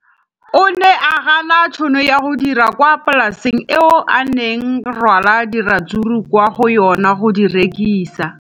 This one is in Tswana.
O ne a gana tšhono ya go dira kwa polaseng eo a neng rwala diratsuru kwa go yona go di rekisa.